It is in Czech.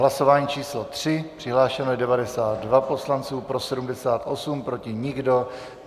Hlasování číslo 3, přihlášeno je 92 poslanců, pro 78 , proti nikdo.